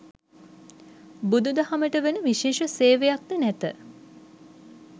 බුදුදහමට වන විශේෂ සේවයක්ද නැත.